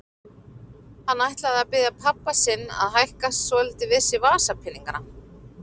Hann ætlaði að biðja pabba sinn að hækka svolítið við sig vasapeningana.